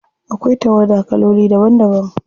Akwai tawada kaloli daban daban.